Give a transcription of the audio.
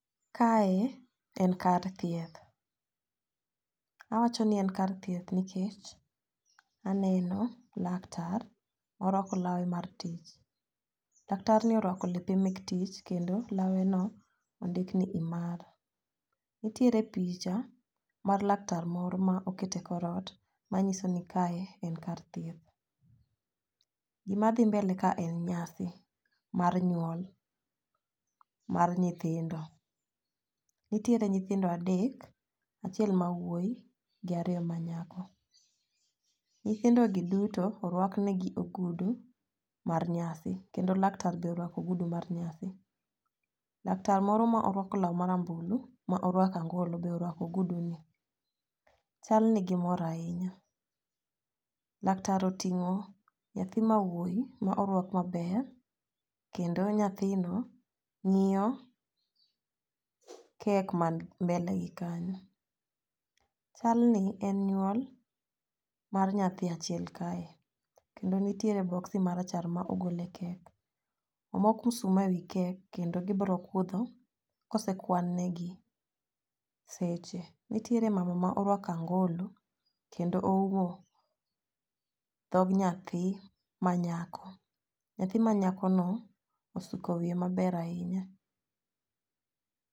Kae en kar thieth awacho ni en kar thieth nikech aneno laktar morwako lawe mar tich. Laktar ni orwako lepe mek tich kendo lawe no ondik ni imara. Nitiere picha mar laktar moro ma okete korot manyiso ni kae en kar thieth. Gima dhi mbele kae en nyasi mar nyuol mar nyithindo . Nitiere nyithindo adek , achiel mawuoyi gi ariyo ma nyako, nyithindo gi duto orwak ne gi ogudu mar nyasi kendo laktar be orwako ogudu mar nyasi. Laktar moor ma orako lar marambulu ma orako angolo be orwako ogudu ni. Chal ni gimor ahinya laktar oting'o nyathi mawuoyi ma orwak maler kendo nyathindo ng'iyo kek man mbele gi kanyo. Chal ni en nyuol mar nyathi achiel kae kendo nitiere boxi marachar ma ogol e kek omok msuma e wi kek kendo gibro kudho kosekwan ne gi seche. Nitiere mama ma orwako angolo kendo oumo dhog nyathi ma nyako, nyathi manyako no osuko wiye maber ahinya.